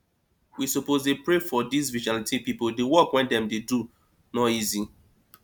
we suppose dey pray for dis vigilante people the work wey dem dey do no easy